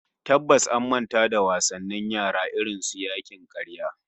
Tabbas an manta da wasannin yara irin su yakin karya